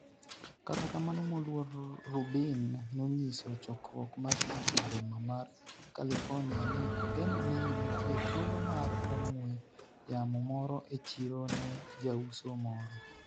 kata kamano moluor Rubin nonyiso chokruok mar ji e boma mar California ni ogeno ni nitie thuolo mar ong'we yamo moro e chiro ne jauso moro